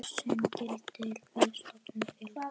sem gildir við stofnun félags.